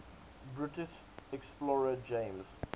british explorer james